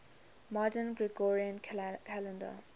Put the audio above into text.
modern gregorian calendar